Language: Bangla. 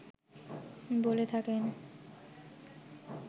বলে থাকেন